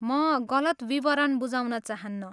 म गलत विवरण बुझाउन चाहन्नँ।